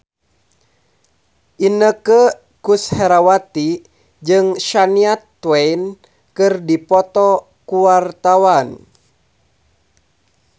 Inneke Koesherawati jeung Shania Twain keur dipoto ku wartawan